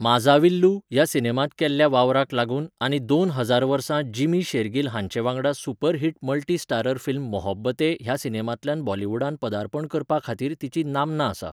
माझाविल्लू ह्या सिनेमांत केल्ल्या वावराक लागून आनी दोन हजार वर्सा जिमी शेर्गिल हांचे वांगडा super hit multi starrer film Mohabbatein ह्या सिनेमांतल्यान बॉलिवूडांत पदार्पण करपा खातीर तिची नामना आसा.